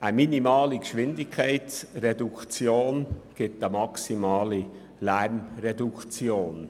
Eine minimale Geschwindigkeitsreduktion ergibt eine maximale Lärmreduktion.